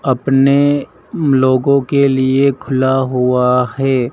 अपने लोगों के लिए खुला हुआ है।